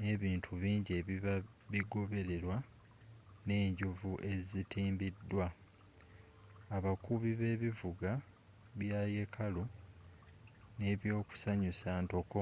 ne bintu bingi ebiba bigobererwa ne njovu ezitimbiddwa abakubi b'ebivuga bya yekaalu n'ebyokusanyusa ntoko